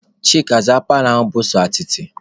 Chika, zaa paalọ ahụ bụ sọ atịtị!